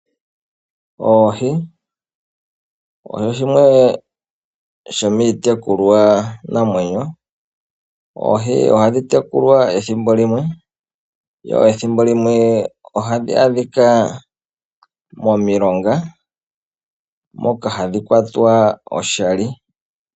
Oohi odho shimwe shomiitekulwanamwenyo. Oohi ohadhi tekulwa ethimbo limwe. Yo ethimbo limwe ohadhi adhika momiilonga moka hadhi kwatwa oshali.